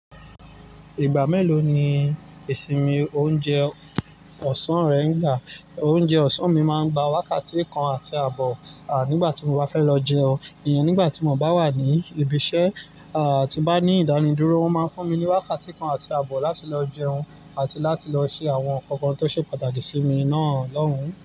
Ìgbà mélòó ni ìsinmi oúnjẹ ọ̀sán rẹ ń gbà? Oúnjẹ ọ̀sán mi máa ń gba wákàtí kan àti àbọ̀, à, nígbà tí mo bá fẹ́ lọ jẹun. Nígbà tí mo bá wà ní ibi iṣẹ́, à, tí n bá ní ìdánidúró, wọ́n máa ń fún mi ní wákàtí kan àti àbọ̀ láti lọ jẹun àti láti lọ ṣe àwọn ǹkan kan tó ṣe pàtàkì sí mi náà lọ́hùn-ún.